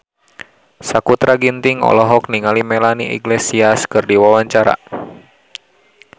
Sakutra Ginting olohok ningali Melanie Iglesias keur diwawancara